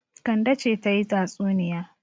Kande ce za ta yi tatsunniya.